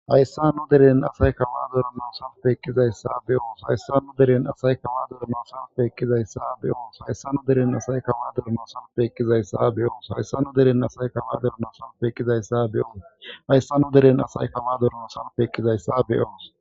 hayssa nu deren asay kawaadora na salpeekizayssa beyoos hayssa nu deren asay kawaadorana salpeekkizayssa beyoos hayssa nu deren asay kawaadorana salpeekizayssa beyoos hayssa nu deren asay kawaadorana salpeekizayssa be7oos hayssa nu deren asay kawaadorana salpeekizayssa be7oos